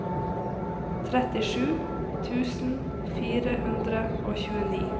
trettisju tusen fire hundre og tjueni